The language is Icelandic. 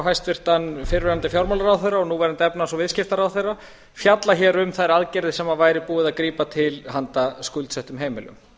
hæstvirtur fyrrverandi fjármálaráðherra og núverandi efnahags og viðskiptaráðherra fjalla hér um þær aðgerðir sem búið væri að grípa til handa skuldsettum heimilum